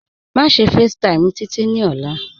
Máṣe facetime Títí ní òla.